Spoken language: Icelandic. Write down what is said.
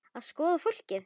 Að skoða fólkið.